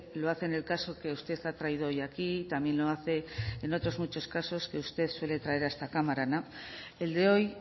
lo hace en el caso que usted ha traído hoy aquí y también lo hace en otros muchos casos que usted suele traer a esta cámara el de hoy